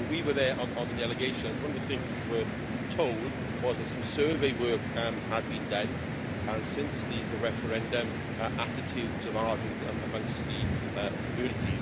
When we were there on the delegations, one of the things we were told was that some survey work had been done and since the referendum, attitudes have hardened amongst the community.